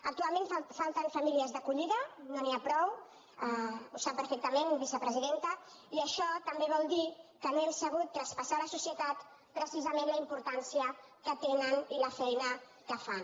actualment falten famílies d’acollida no n’hi ha prou ho sap perfectament vicepresidenta i això també vol dir que no hem sabut traspassar a la societat precisament la importància que tenen i la feina que fan